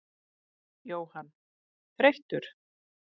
Jóhann: Þreyttur?